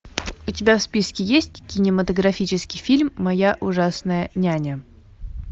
у тебя в списке есть кинематографический фильм моя ужасная няня